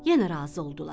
Yenə razı oldular.